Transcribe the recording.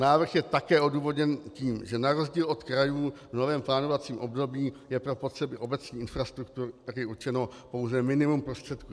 Návrh je také odůvodněn tím, že na rozdíl od krajů v novém plánovacím období je pro potřeby obecních infrastruktur určeno pouze minimum prostředků.